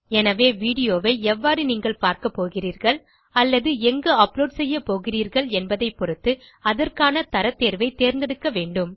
எனவே வீடியோ ஐ எவ்வாறு நீங்கள் பார்க்கப்போகிறீர்கள் அல்லது எங்கு அப்லோட் செய்ய போகிறீர்கள் என்பதை பொருத்து அதற்கான தரத் தேர்வை தேர்ந்தெடுக்க வேண்டும்